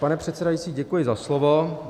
Pane předsedající, děkuji za slovo.